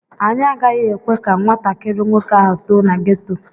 Anyị agaghị ekwe ka nwatakịrị nwoke ahụ too na geto.